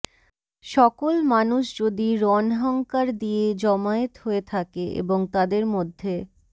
সকল মানুষ যদি রণহংিকার দিয়ে জমায়েত হয়ে থাকে এবং তাদের মধ্যে